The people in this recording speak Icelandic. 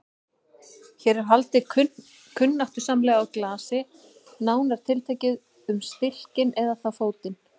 Hér er haldið kunnáttusamlega á glasi, nánar tiltekið um stilkinn, eða þá fótinn.